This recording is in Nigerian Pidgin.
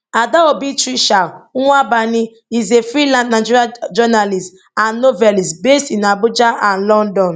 adaobi tricia nwaubani is a freelance nigerian journalist and novelist based in abuja and london